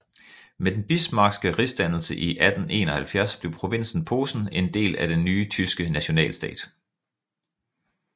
Med den Bismarckske rigsdannelse i 1871 blev provinsen Posen en del af den nye tyske nationalstat